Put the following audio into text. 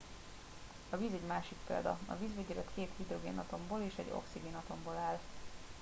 a víz egy másik példa a vízvegyület két hidrogénatomból és egy oxigénatomból áll